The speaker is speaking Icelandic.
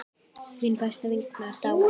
þegar frá leið.